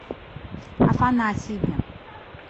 афанасьеве